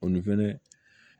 Olu fɛnɛ